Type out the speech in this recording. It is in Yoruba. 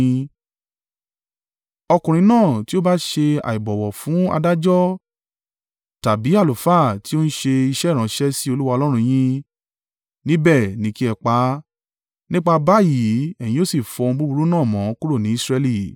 Ọkùnrin náà tí ó bá ṣe àìbọ̀wọ̀ fún adájọ́ tàbí àlùfáà tí ó ń ṣe iṣẹ́ ìránṣẹ́ sí Olúwa Ọlọ́run yín, níbẹ̀ ni kí ẹ pa á. Nípa báyìí ẹ̀yin yóò sì fọ ohun búburú náà mọ́ kúrò ní Israẹli.